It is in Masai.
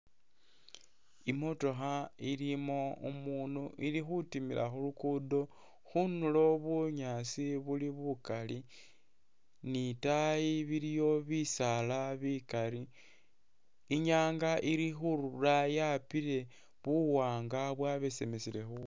I'motokha ilimu umunu ili khutimila khu luguudo, khunulo bunyaasi buli bukali ni itaayi iliwo bisaala bikali. I'nyaanga ili khurura yapile buwaanga bwabesemisile bubwile.